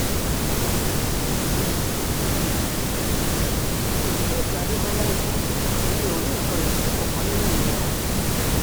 um faith adébọlá ẹ̀kọ́ ẹ̀mí ò rí nǹkan ìtìjú kankan nínú ìyẹn o um